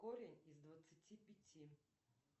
корень из двадцати пяти